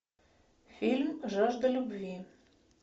фильм жажда любви